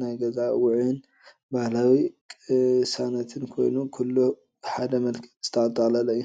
ናይ ገዛ ውዑይን ባህላዊ ቅሳነትን ኮይኑ፡ ኩሉ ብሓደ መልክዕ ዝተጠቕለለ እዩ።